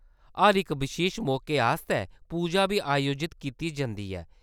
हर इक बशेश मौके आस्तै, पूजा बी अयोजत कीती जंदी ऐ ?